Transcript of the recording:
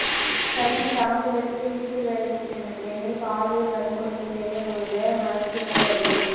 சென்னை தாம்பரத்தில் வீட்டு வேலைக்கு சென்ற பெண்ணை பாலியல் வன்கொடுமை செய்ய முயன்ற மருத்துவர் கைது